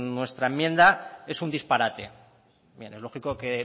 nuestra enmienda es un disparate bien es lógico que